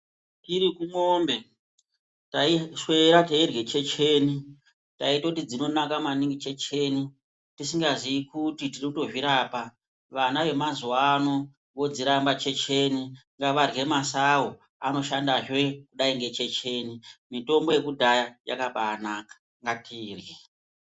Tiri kumwombe taishwera teirwe checheni taitoti dzinonaka maningi checheni tisingaziyi kuti tiri kutozvirapa, vana vemazuwano vodziramba checheni ngavarwe masawu anoshandazve kudai ngechecheni . Mitombo yekudhaya yakabanaka ngatirwe .